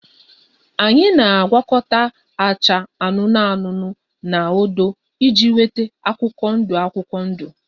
Anyị na-agwakọta acha anụnụ anụnụ na odo iji nweta akwụkwọ ndụ akwụkwọ ndụ